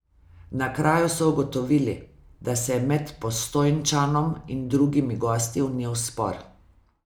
Na kraju so ugotovili, da se je med Postojnčanom in drugimi gosti vnel spor.